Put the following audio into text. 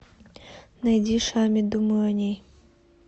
найди шами думаю о ней